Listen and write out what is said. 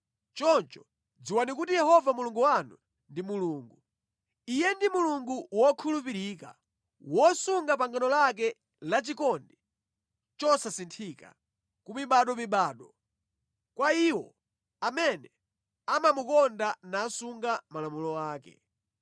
Choncho dziwani kuti Yehova Mulungu wanu, ndi Mulungu. Iye ndi Mulungu wokhulupirika, wosunga pangano lake la chikondi chosasinthika ku mibadomibado, kwa iwo amene amamukonda nasunga malamulo ake.